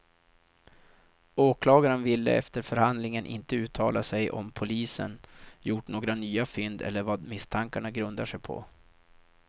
Åklagaren ville efter förhandlingen inte uttala sig om polisen gjort några nya fynd eller vad misstankarna grundar sig på.